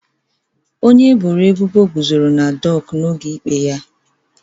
Onye eboro ebubo guzoro na doku n'oge ikpe.